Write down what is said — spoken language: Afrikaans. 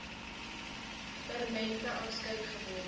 permanente afskeid geword